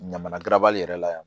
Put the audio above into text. Ɲamana garabali yɛrɛ la yan